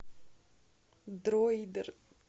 дройдер